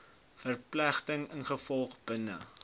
verpligtinge ingevolge bin